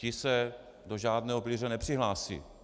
Ti se do žádného pilíře nepřihlásí.